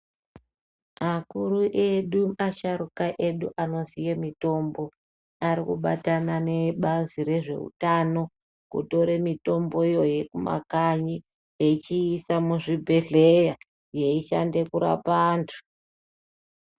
Akuru edu asharuka edu anoziye mutombo arikubatana neebazi rezveutano kutore mutombo iyoyo yemumakanyi echiisa muzvibhedhleya yeyishande kurapa antu.